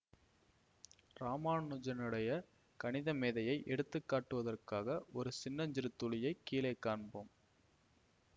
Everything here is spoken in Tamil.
இராமானுஜனுடைய கணிதமேதையை எடுத்துக்காட்டுவதற்காக ஒரு சின்னஞ்சிறு துளியை கீழே காண்போம்